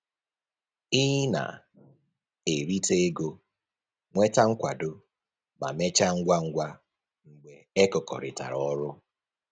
Ị na-erita ego, nweta nkwado, ma mechaa ngwa ngwa mgbe e kekọrịtara ọrụ